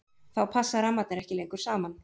þá passa rammarnir ekki lengur saman